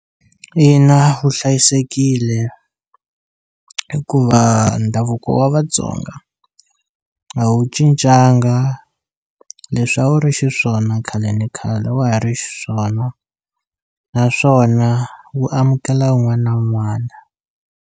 Ina wu hlayisekile hikuva ndhavuko wa Vatsonga a wu cincanga leswi a wu ri xiswona khale ni khale wa ha ri xiswona naswona wu amukela wun'wana na wun'wana.